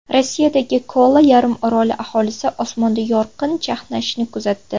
Rossiyadagi Kola yarimoroli aholisi osmonda yorqin chaqnashni kuzatdi .